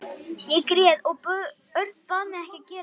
Ég grét og bað Örn að gera þetta ekki.